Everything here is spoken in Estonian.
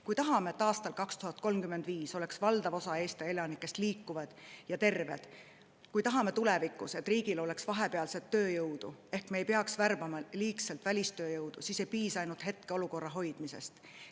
Kui me tahame, et aastal 2035 oleks valdav osa Eesti elanikest liikuvad ja terved, kui me tahame, et tulevikus oleks riigil kohapealset tööjõudu ehk me ei peaks liigselt välistööjõudu värbama, siis ei piisa ainult hetkeolukorra hoidmisest.